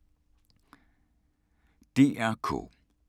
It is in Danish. DR K